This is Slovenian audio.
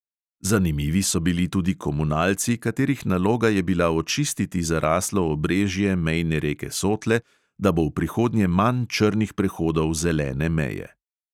Zanimivi so bili tudi komunalci, katerih naloga je bila očistiti zaraslo obrežje mejne reke sotle, da bo v prihodnje manj črnih prehodov zelene meje.